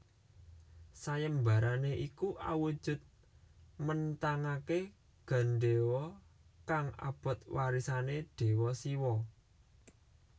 Sayembarane iku awujud menthangake gendewa kang abot warisane Dewa Siwa